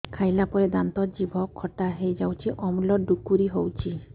ଖାଇଲା ପରେ ଦାନ୍ତ ଜିଭ ଖଟା ହେଇଯାଉଛି ଅମ୍ଳ ଡ଼ୁକରି ହଉଛି